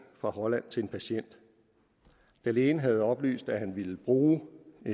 fra holland til en patient da lægen havde oplyst at han ville bruge